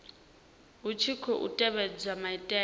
hu tshi khou tevhedzwa maitele